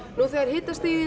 þegar hitastigið